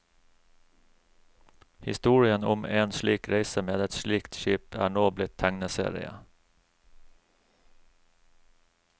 Historien om én slik reise med ett slikt skip er nå blitt tegneserie.